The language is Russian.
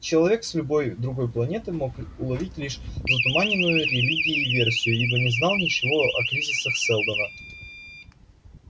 человек с любой другой планеты мог уловить лишь затуманенную религией версию ибо не знал ничего о кризисах сэлдона